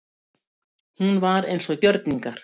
Hún var eins og gjörningar.